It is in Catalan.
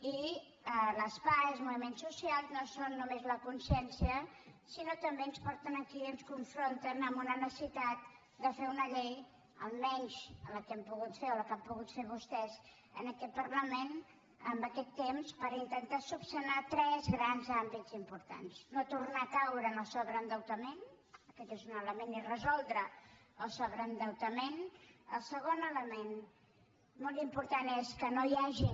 i les pah i els moviments socials no són només la consciència sinó que també ens porten aquí i ens confronten amb una necessitat de fer una llei almenys la que hem pogut fer o la que han pogut fer vostès en aquest parlament en aquest temps per intentar resoldre tres grans àmbits importants no tornar a caure en el sobreendeutament aquest és un element és resoldre el sobreendeutament el segon element molt important és que no hi hagin